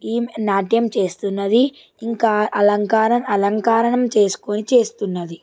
ఈమ్ నాట్యం చేస్తునది ఇంకా అలంకారం - అలంకారనం చేస్కొని చేస్తున్నది.